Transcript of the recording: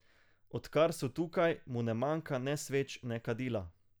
Odkar so tukaj, mu ne manjka ne sveč ne kadila.